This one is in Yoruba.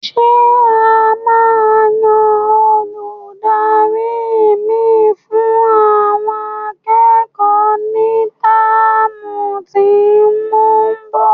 Ṣé e máa yan Olùdarí mi fún àwọn akẹ́kọ̀ọ́ ní táàmù tí óún bo?